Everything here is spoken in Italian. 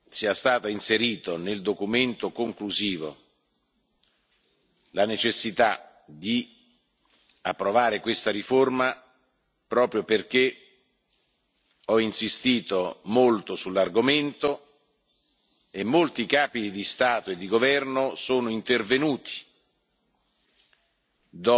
Ritengo che sia stata inserita nel documento conclusivo la necessità di approvare questa riforma proprio perché ho insistito molto sull'argomento e molti capi di Stato e di governo sono intervenuti,